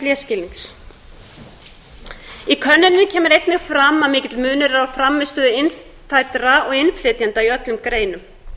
lesskilnings í könnuninni kemur einni fram að mikill munur er á frammistöðu innfæddra og innflytjenda í öllum greinum